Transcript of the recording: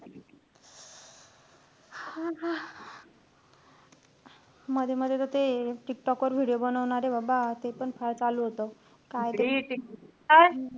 हां. मध्ये-मध्ये तर ते टिकटॉक वर video बनवणारे बाबा. ते पण फार चालू होतं. काय ते,